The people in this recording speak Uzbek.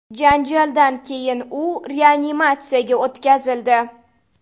Janjaldan keyin u reanimatsiyaga o‘tkazildi.